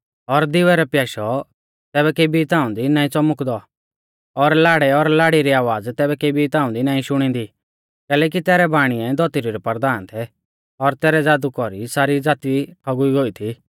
और दिवै रौ प्याशौ तैबै केबी ताऊं दी नाईं च़ौमुकदौ और लाड़ै और लाड़ी री आवाज़ तैबै केबी ताऊं दी नाईं शुणींदी कैलैकि तैरै बाणीऐ धौतरी रै परधान थै और तैरै ज़ादु कौरी सारी ज़ाती ठौगुई गोई थी